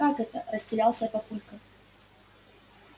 как это растерялся папулька